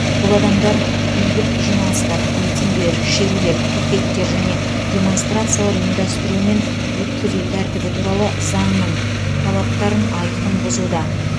бұл адамдар бейбіт жиналыстар митингілер шерулер пикеттер және демонстрациялар ұйымдастыру мен өткізу тәртібі туралы заңның талаптарын айқын бұзуда